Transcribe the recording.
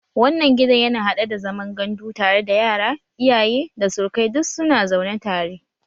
Wannan gidan yana haɗe da zaman gandu tare da yara, iyaye, da surukai duk su na zaune tare